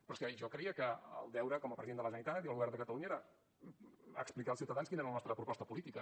però és que jo creia que el deure com a president de la generalitat i del govern de catalunya era explicar als ciutadans quina era la nostra proposta política